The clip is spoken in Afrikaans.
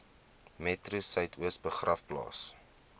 metro suidoos begraafplaas